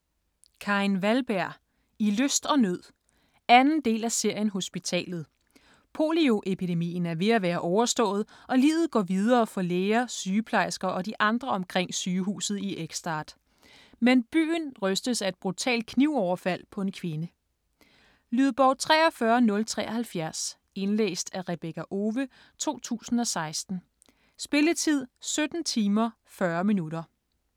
Wahlberg, Karin: I lyst og nød 2. del af serien Hospitalet. Polioepidemien er ved at være overstået, og livet går videre for læger, sygeplejersker og de andre omkring sygehuset i Ekstad. Men byen rystes af et brutalt knivoverfald på en kvinde. Lydbog 43073 Indlæst af Rebekka Owe, 2016. Spilletid: 17 timer, 40 minutter.